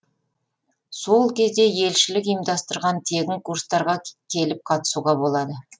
сол жерде елшілік ұйымдастырған тегін курстарға келіп қатысуға болады